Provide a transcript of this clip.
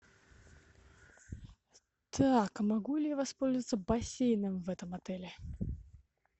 так могу ли я воспользоваться бассейном в этом отеле